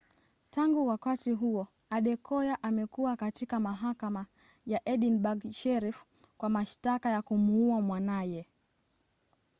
tangu wakati huo adekoya amekuwa katika mahakama ya edinburg sheriff kwa mashtaka ya kumuua mwanaye